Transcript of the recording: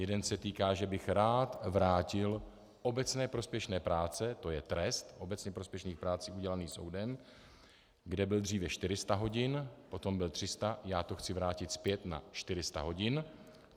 Jeden se týká, že bych rád vrátil obecně prospěšné práce, to je trest obecně prospěšných prací udělený soudem, kde byl dříve 400 hodin, potom byl 300, já to chci vrátit zpět na 400 hodin.